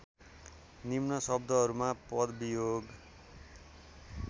निम्न शब्दहरूमा पदवियोग